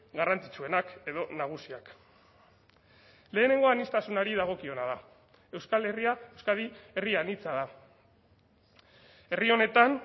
garrantzitsuenak edo nagusiak lehenengo aniztasunari dagokiona da euskal herria euskadi herri anitza da herri honetan